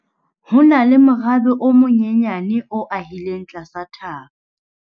Ho na le morabe o monyenyane o ahileng tlasa thaba.